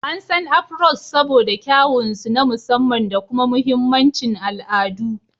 An san "Afros" saboda kyawun su na musamman da kuma mahimmancin al'adu.